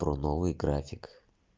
про новый график